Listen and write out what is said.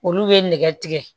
Olu bɛ nɛgɛ tigɛ